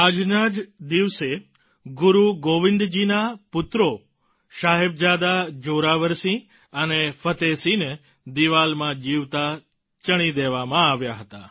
આજના જ દિવસે ગુરુ ગોવિંદજીના પુત્રો સાહેબજાદા જોરાવરસિંહ અને ફતેહસિંહને દિવાલમાં જીવતા ચણી દેવામાં આવ્યા હતા